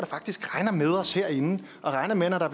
faktisk regner med os herinde og regner med at når der